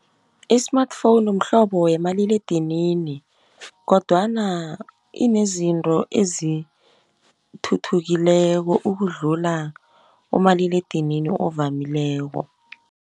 I-smartphone mhlobo wemaliledinini , kodwana inezinto ezithuthukileko ukudlula umaliledinini ovamileko.